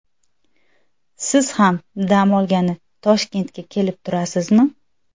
Siz ham dam olgani Toshkentga kelib turasizmi?